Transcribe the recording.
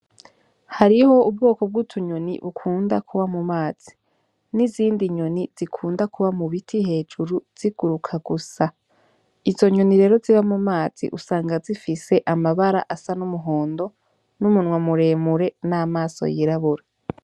Hariho ubwoko bw'utunyoni dukunda kuba mu mazi, n'izindi nyoni zikunda kuba mu biti hejuru ziguruka gusa, izo nyoni rero ziba mumazi usanga zifise amabara asa n'umuhondo, n'umunwa mure mure n'amaso y'irabura.